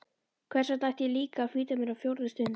Hversvegna ætti ég líka að flýta mér á fjórðu stund?